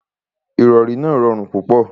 Ìrọrí náà rọrùn púpọ̀.